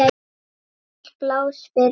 Ávallt pláss fyrir alla.